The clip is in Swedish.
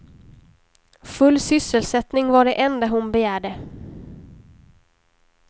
Full sysselsättning var det enda hon begärde.